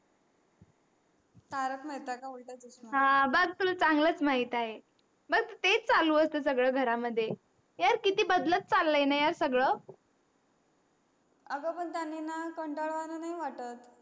तारख मेहता का उलठा चसमा हा बग तुला चांगलच महित आहे. बग तेच चालू असत सगळ घरा मध्ये यार किती बदलत चालय यार सगळ अग पण त्यांनी णा कंटाळ वाण नाही वाटत